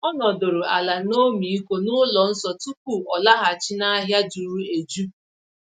O nọdụrụ ala n’ọmịiko n'ụlọ nsọ tupu ọ laghachi n’ahịa juru eju.